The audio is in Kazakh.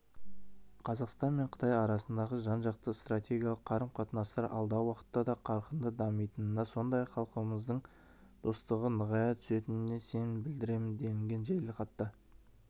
қазақстан мен қытай арасындағы жан-жақты стратегиялық қарым-қатынастар алдағы уақытта да қарқынды дамитынына сондай-ақ халықтарымыздың достығы нығая түсетініне сенім білдіремін делінген жеделхатта